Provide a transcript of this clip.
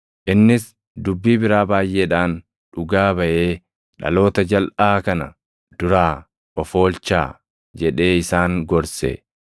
Innis dubbii biraa baayʼeedhaan dhugaa baʼee, “Dhaloota jalʼaa kana duraa of oolchaa” jedhee isaan gorse.